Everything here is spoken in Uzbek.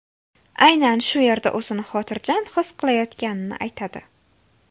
Aynan shu yerda o‘zini xotirjam his qilayotganini aytadi.